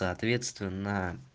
соответственно